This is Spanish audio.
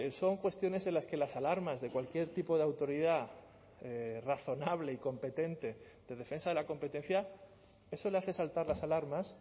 son cuestiones en las que las alarmas de cualquier tipo de autoridad razonable y competente de defensa de la competencia eso le hace saltar las alarmas